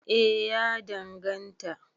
eh ya danganta